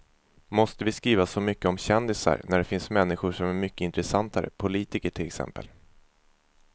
Måste vi skriva så mycket om kändisar när det finns människor som är mycket intressantare, politiker till exempel.